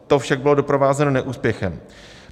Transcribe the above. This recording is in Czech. To však bylo doprovázeno neúspěchem.